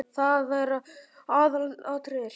Það er aðalatriðið.